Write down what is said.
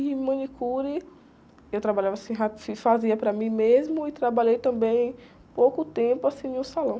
E manicure, eu trabalhava assim, fazia para mim mesmo e trabalhei também pouco tempo, assim, em um salão.